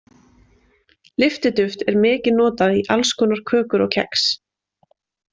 Lyftiduft er mikið notað í alls konar kökur og kex.